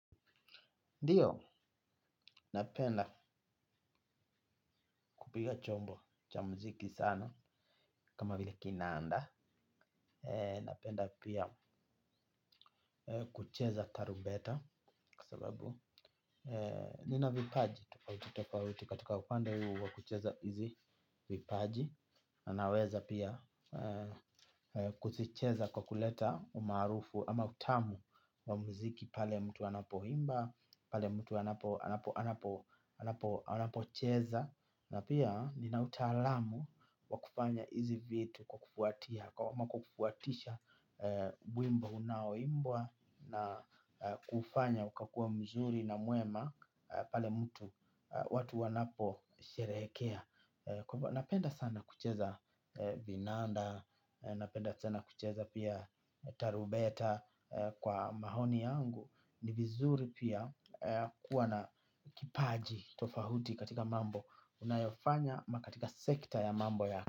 Ndiyo, napenda kupiga chombo cha muziki sana kama vile kinanda. Napenda pia kucheza tarumbeta kwa sababu nina vipaji. Tofauti tofauti katika upende huu wa kucheza hizi vipaji. Na naweza pia kuzicheza kwa kuleta umaarufu ama utamu wa muziki pale mtu anapoimba, pale mtu anapo anapo anapocheza na pia vina utaalamu wa kufanya hizi vitu kwa kufuatia kama kwa kufuatisha wimbo unaoimbwa na kuufanya ukakua mzuri na mwema pale mtu watu wanapo sherehekea napenda sana kucheza vinanda napenda sana kucheza pia tarumbeta kwa maoni yangu. Ni vizuri pia kuwa na kipaji tofauti katika mambo unayofanya ama katika sekta ya mambo ya.